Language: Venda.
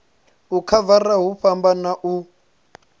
u khavara hu fhambana u